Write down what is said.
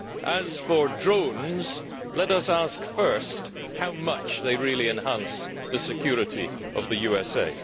As for drones, let us ask first how much they really enhance the security of the USA.